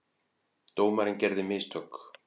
Dómarinn gerði mistök.